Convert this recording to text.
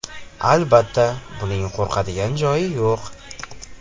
Albatta, buning qo‘rqadigan joyi yo‘q.